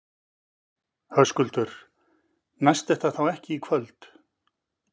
Höskuldur: Næst þetta þá ekki í kvöld?